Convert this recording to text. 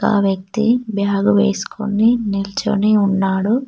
ఆ వ్యక్తి బ్యాగ్ వేసుకొని నిల్చని ఉన్నాడు.